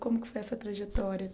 Como que foi essa trajetória?